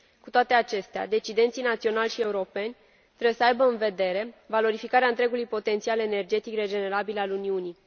Cu toate acestea, decidenții naționali și europeni trebuie să aibă în vedere valorificarea întregului potențial energetic regenerabil al Uniunii.